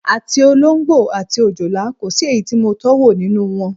Àti olóǹgbò àti òjòlá, kò sí èyí tí mo tó̩wò nínú wo̩n.